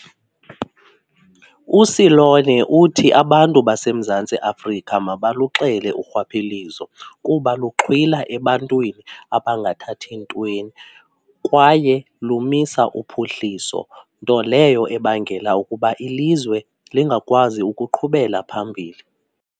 USeloane uthi abantu baseMzantsi Afrika mabaluxele urhwaphilizo kuba luxhwila ebantwini abangathathi ntweni kwaye lumisa uphuhliso, nto leyo ebangela ukuba ilizwe lingakwazi ukuqhubela phambili.